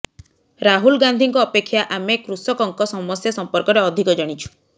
ରାହୁଲ ଗାନ୍ଧୀଙ୍କ ଅପେକ୍ଷା ଆମେ କୃଷକଙ୍କ ସମସ୍ୟା ସଂପର୍କରେ ଅଧିକ ଜାଣିଛୁ